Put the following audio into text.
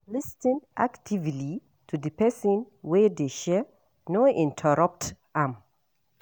Lis ten actively to di person wey dey share, no interrupt am